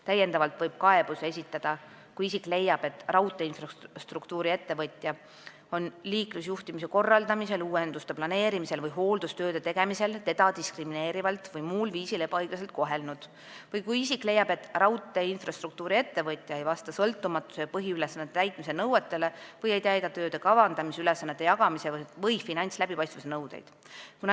Täiendavalt võib kaebuse esitada, kui isik leiab, et raudteeinfrastruktuuri-ettevõtja on liiklusjuhtimise korraldamisel, uuenduste planeerimisel või hooldustööde tegemisel teda diskrimineerivalt või muul viisil ebaõiglaselt kohelnud, või kui isik leiab, et raudteeinfrastruktuuri-ettevõtja ei vasta sõltumatuse ja põhiülesannete täitmise nõuetele või ei täida tööde kavandamise, ülesannete jagamise või finantsläbipaistvuse nõudeid.